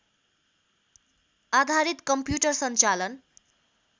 आधारित कम्प्युटर सञ्चालन